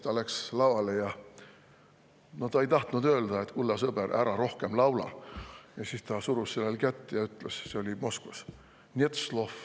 Ta läks lavale ja ta ei tahtnud öelda, et, kulla sõber, ära rohkem laula, siis ta surus selle kätt – see oli Moskvas – ja ütles: "Net slov.